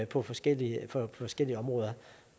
på forskellige forskellige områder